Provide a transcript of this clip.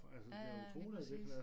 Ja ja lige præcis